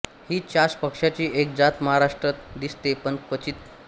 ही चाष पक्ष्याची एक जात महाराष्ट्रात दिसते पण क्वचित